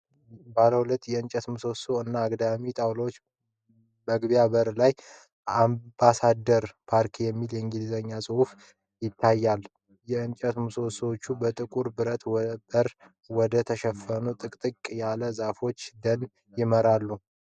ባለ ሁለት የእንጨት ምሰሶዎች እና አግዳሚ ጣውላዎች መግቢያ በር ላይ "AMBASSADOR PARK" የሚል የእንግሊዝኛ ጽሑፍ ይታያል። የእንጨት ምሰሶዎቹ በጥቁር ብረት በር ወደ ተሸፈነ ጥቅጥቅ ያለ የዛፎች ደን ይመራሉ።